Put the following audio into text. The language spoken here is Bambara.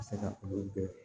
se ka olu bɛɛ